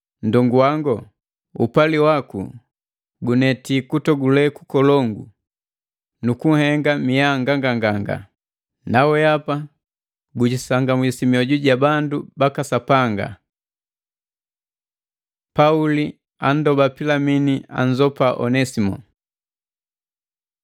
Nndongu wango, upali waku guneti kutogule kukolongu nu kunhenga mia nganganganga! Nawehapa gujisangamwisi mioju ja bandu baka Sapanga. Pauli andoba Pilimini anzopa Onesimo